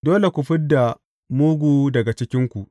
Dole ku fid da mugu daga cikinku.